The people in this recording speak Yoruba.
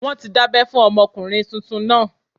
Wọ́n ti dábẹ́ fún ọmọkùnrin tuntun náà